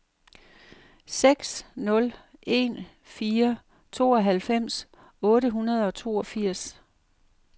seks nul en fire tooghalvfems otte hundrede og toogfirs